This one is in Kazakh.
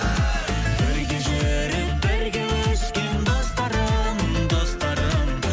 бірге жүріп бірге өскен достарым достарым